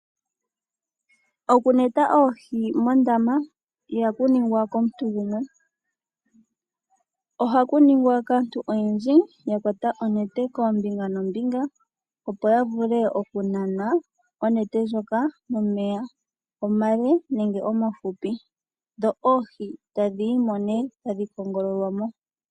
Okuneta oohi mondama ihaku ningwa komuntu gumwe . Ohaku ningwa kaantu oyendji ya kwata onete kombinga nombinga opo yavule okunana onete ndjoka momeya omale nenge omahupi dho oohi tadhiyimo neee tadhi kongololwa mo.